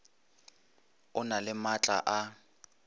e na le maatla a